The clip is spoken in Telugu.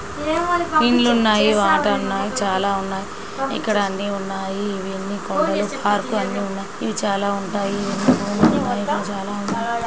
ఇండ్లు ఉన్నాయివాటర్ ఉన్నాయి చాలా ఉన్నాయి ఇక్కడ అన్ని ఉన్నాయి ఇవన్నీ పార్క్ అన్ని ఉన్నాయిఇవి చాలా ఉంటాయి చాలా ఉన్నాయి